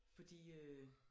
Fordi øh